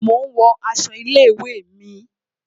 Mo ń wo aṣọ ilé ìwé mi